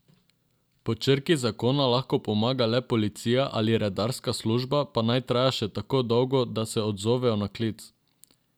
Po črki zakona lahko pomaga le policija ali redarska služba, pa naj traja še tako dolgo, da se odzovejo na klic.